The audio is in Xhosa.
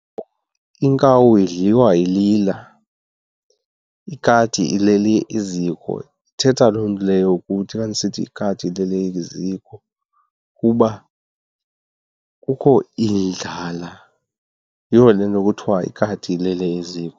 Iinkawu idliwa ilila, ikati ilele eziko. Ithetha loo nto leyo ukuthi xa ndisithi ikati ilele eziko ukuba kukho indlala, yiyo le nto kuthiwa ikati ilele eziko.